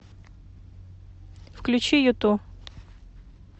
включи юту